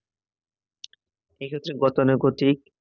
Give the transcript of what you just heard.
এ ক্ষেত্রে গতানুগতিক